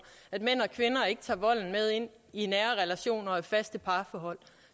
at mænd og kvinder ikke tager volden med ind i nære relationer og faste parforhold